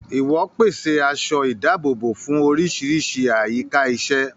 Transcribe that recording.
Ìwò pèsè aṣọ ìdáàbòbò fún oríṣiríṣi àyíká iṣẹ́.